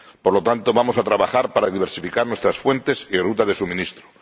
Por lo tanto, vamos a trabajar para diversificar nuestras fuentes y rutas de suministro.